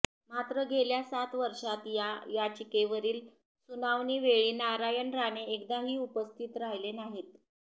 मात्र गेल्या सात वर्षात या याचिकेवरील सुनावणीवेळी नारायण राणे एकदाही उपस्थित राहीले नाहीत